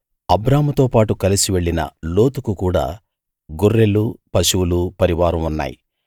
అబ్రాముతో పాటు కలసి వెళ్ళిన లోతుకు కూడా గొర్రెలు పశువులు పరివారం ఉన్నాయి